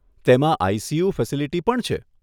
તેમાં ICU facility પણ છે.